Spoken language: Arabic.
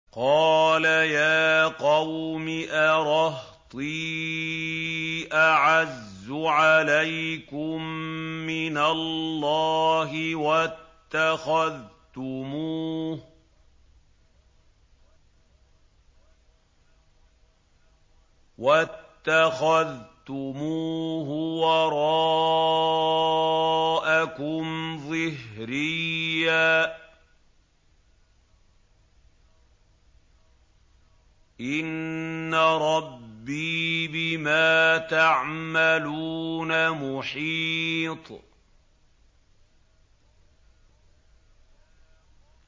قَالَ يَا قَوْمِ أَرَهْطِي أَعَزُّ عَلَيْكُم مِّنَ اللَّهِ وَاتَّخَذْتُمُوهُ وَرَاءَكُمْ ظِهْرِيًّا ۖ إِنَّ رَبِّي بِمَا تَعْمَلُونَ مُحِيطٌ